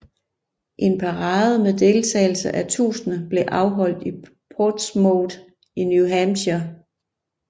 En parade med deltagelse af tusinder blev afholdt i Portsmouth i New Hampshire